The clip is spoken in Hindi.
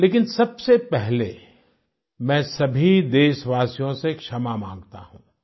लेकिन सबसे पहले मैं सभी देशवासियों से क्षमा माँगता हूँ